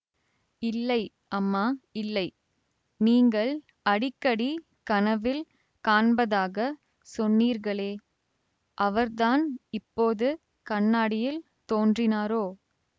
இல்லை அம்மா இல்லை நீங்கள் அடிக்கடி கனவில் காண்பதாகச் சொன்னீர்களே அவர்தான் இப்போது கண்ணாடியில் தோன்றினாரோ